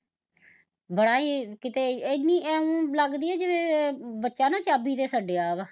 ਬੜਾ ਈ ਕਿਤੇ ਏਨੀ ਇਓ ਲੱਗਦੀ ਐ ਜਿਵੇ ਬੱਚਾ ਨਾ ਚਾਬੀ ਤੇ ਛੱਡਿਆ ਵਾਂ